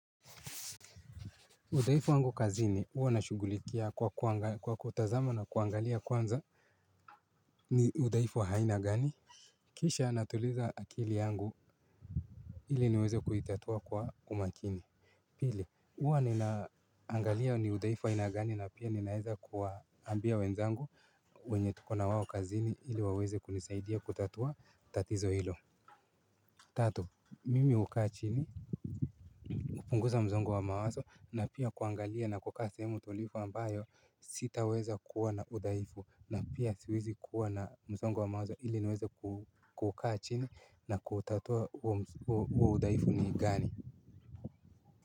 Udhaifu wangu kazini uwa nashugulikia kwa kutazama na kuangalia kwanza. Ni udhaifu wa haina gani? Kisha natuliza akili yangu ili niweze kuitatua kwa umakini. Pili uwa ninaangalia ni udhaifu aina gani na pia ninaeza kuwaambia wenzangu. Wenye tuko na wao kazini ili waweze kunisaidia kutatua tatizo hilo. Tatu mimi hukaa chini. Kupunguza mzongo wa mawaso na pia kuangalia na kukaa sehemu tulifu ambayo sitaweza kuwa na udhaifu na pia siwezi kuwa na mzongo wa mawaso ili niweze kukaa chini na kuutatua uo udhaifu ni gani.